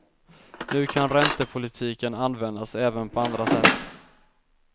Nu kan räntepolitiken användas även på andra sätt.